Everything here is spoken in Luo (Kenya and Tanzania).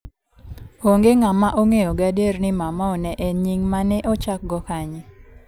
Onge ng'ama ong'eyo gadier ni Maumau ne en nying' ma ne ochakgo kanye.